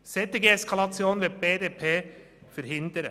Eine solche Eskalation möchte die BDP verhindern.